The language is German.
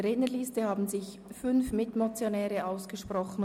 Es haben sich fünf Mitmotionäre gemeldet.